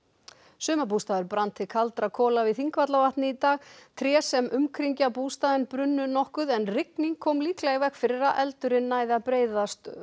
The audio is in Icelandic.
sumarbústaður brann til kaldra kola við Þingvallavatn í dag tré sem umkringja bústaðinn brunnu nokkuð en rigning kom líklega í veg fyrir að eldurinn næði að breiðast